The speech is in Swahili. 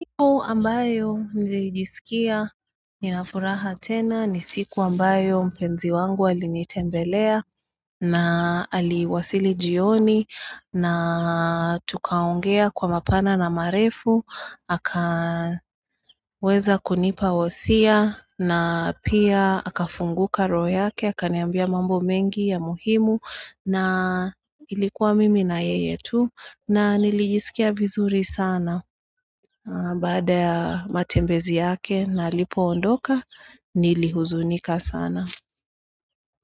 Siku ambayo nilijisikia nina furaha tena ni siku ambayo mpenzi wangu alinitembelea na aliwasili jioni na tukaongea kwa mapana na marefu aka weza kunipa wosia na pia akafunguka roho yake akaniambia mambo mengi ya muhimu na ilikuwa mimi na yeye tu na nilijisikia vizuri sana baada ya matembezi yake na alipo londoka nilihuzunika sana.